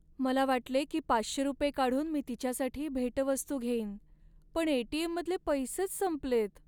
मला वाटले की पाचशे रुपये काढून मी तिच्यासाठी भेटवस्तू घेईन, पण ए.टी.एम.मधले पैसेच संपलेत.